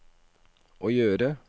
å gjøre